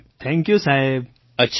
મંજૂરજી thank you સાહેબ